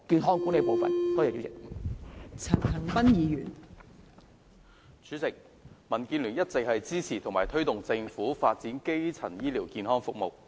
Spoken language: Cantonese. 代理主席，民主建港協進聯盟一直支持及推動政府發展基層醫療健康服務。